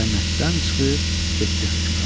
O cənnətdən çıxıb getdi hökmran.